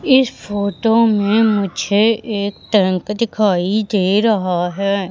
इस फोटो में मुझे एक टैंक दिखाई दे रहा है।